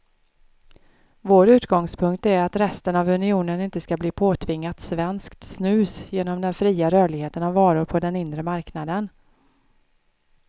Vår utgångspunkt är att resten av unionen inte ska bli påtvingat svenskt snus genom den fria rörligheten av varor på den inre marknaden.